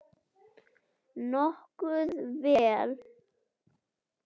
Nokkuð vel.